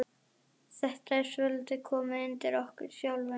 Þetta er svolítið komið undir okkur sjálfum.